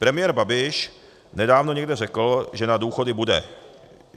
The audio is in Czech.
Premiér Babiš nedávno někde řekl, že na důchody bude.